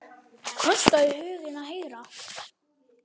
Kostaðu huginn að herða.